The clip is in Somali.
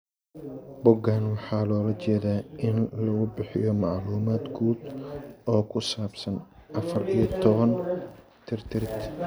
Boggaan waxaa loola jeedaa in lagu bixiyo macluumaad guud oo ku saabsan afaar iyo tobaan tirtirid.